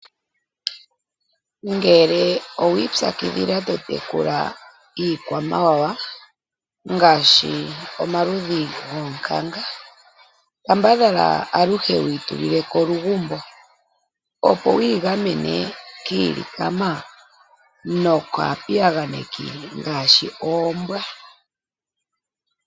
Ngele owiipyakidhila to tekula iikwamawawa ngaashi omaludhi goonkanga kambadhala aluhe wuyi tuli leko olugumbo, opo wuyi gamene kiilikama nokaapiyaganeki ngaashi oombwa